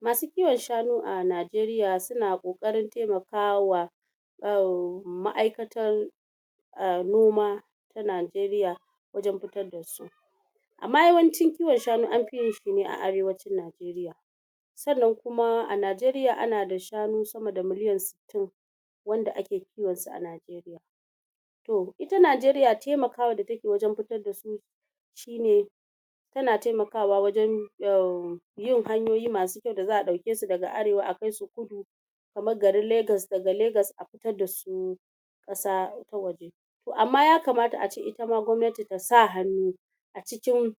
masu kiwon shanu a Najeriya suna ƙoƙarin temakawa uhhm ma'aikatan uhm noma ta Najeriya wajen fitar da su amma yawancin kiwon shanu an fi yin sa ne a arewacin Najeriya sannan kuma a Najeriya ana da shanu sama da miliyan sittin (60) wanda ake kiwon su a Najeriya to ita Najeriya temakawa da take wajen fitar da su shi ne tana temakawa wajen uhm yin hanyoyi masu kyau da za'a ɗauke su daga arewa a kai su kudu kamar garin Legas daga Legas a fitar da su ƙasa ta waje to amma ya kamata ace ita ma gwamnati ta sa hannu a cikin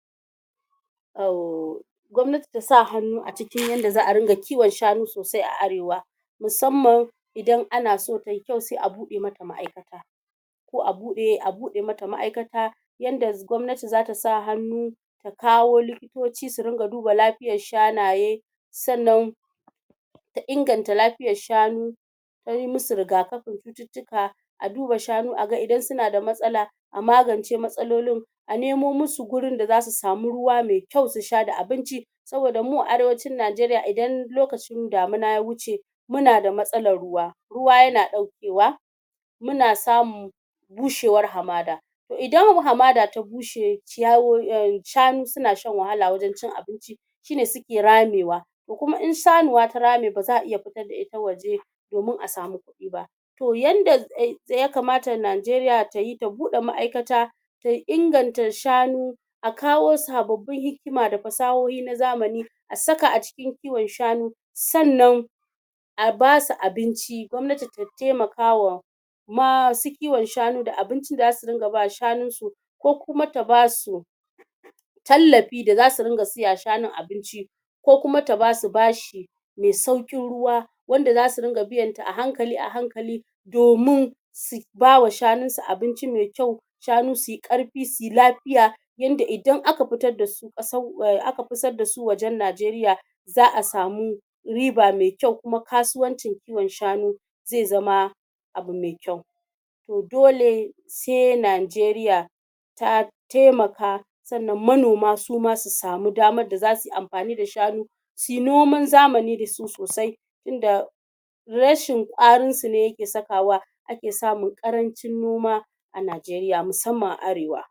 uhm gwamnati ta sa hannu a cikin yadda za'a ringa kiwon shanu sosai a arewa musamman idan ana so tayi kyau se a buɗe mata ma'aikata ko a buɗe mata ma'aikata yanda gwamnati zata sa hannu ta kawo likitoci su dinga duba lafiyar shanaye sannan ta inganta lafiyar shanu tayi mu su rigakafin cututtuka a duba shanu a ga idan suna da matsala a magance matsalolin a nemo mu su gurin da zasu samu ruwa me kyau su sha da abinci saoda mu a arewacin Najeriya idan lokacin damina ya wuce muna da matsalar ruwa ruwa yana ɗaukewa muna samu bushewar hamada to idan hamada ta bushe shanu suna shan wahala wajen cin abinci shine suke ramewa to kuma in shanuwa ta rame ba za'a iya fitar da ita waje domin a samu kuɗi ba to yanda ya kamata Najeriya tayi ta buɗe ma'aikata ta inganta shanu a kawo sababbin hikima da fasahohi na zamani a saka a cikin kiwon shanu sannan a basu abinci, gwamnati ta temakawa masu kiwon shanu da abincin da zasu dinga ba shanun su ko kuma ta ba su tallafi da zasu dinga siya wa shanun abinci ko kuma ta basu bashi me sauƙin ruwa wanda zasu dinga biyanta ahankali-ahankali domin su ba wa shanun su abinci me kyau shanu suyi ƙarfi suyi lafiya yadda idan aka fitar da su aka fitar da su wajen Najeriya za'a samu riba me kyau kuma kasuwancin kiwon shanu ze zama abu me kyau to dole se Najeriya ta temaka sannan manoma suma su samu damar da zasu yi amfani da shanu suyi noman zamani da su sosai tunda rashin ƙwarin su ne yake sakawa ake samun ƙarancin noma a Najeriya musamman a arewa